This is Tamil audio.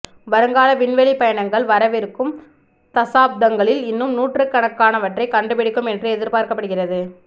வருங்கால விண்வெளி பயணங்கள் வரவிருக்கும் தசாப்தங்களில் இன்னும் நூற்றுக்கணக்கானவற்றைக் கண்டுபிடிக்கும் என்று எதிர்பார்க்கப்படுகிறது